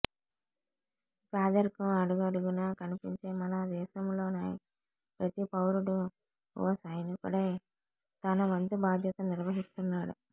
పేదరికం అడుగడుగునా కనిపించే మనదేశంలోనై ప్రతి పౌరుడు ఓ సైనికుడై తన వంతు బాధ్యతను నిర్వహిస్తున్నాడు